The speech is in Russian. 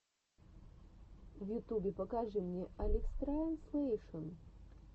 в ютубе покажи мне алекстранслейшен